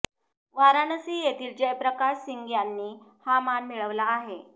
वाराणसी येथील जयप्रकाश सिंग यांनी हा मान मिळविला आहे